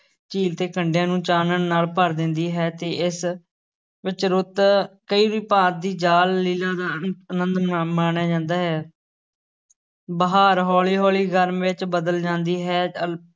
ਝੀਲ ਦੇ ਕੰਢਿਆਂ ਨੂੰ ਚਾਨਣ ਨਾਲ ਭਰ ਦਿੰਦੀ ਹੈ ਤੇ ਇਸ ਵਿਚ ਰੁੱਤ ਕਈ ਭਾਂਤ ਦੀ ਜਾਲ-ਲੀਲ੍ਹਾ ਦਾ ਵੀ ਆਨੰਦ ਮਾ~ ਮਾਣਿਆ ਜਾਂਦਾ ਹੈ ਬਹਾਰ ਹੌਲੀ ਹੌਲੀ ਗਰਮੀ ਵਿੱਚ ਬਦਲ ਜਾਂਦੀ ਹੈ ਅਲ~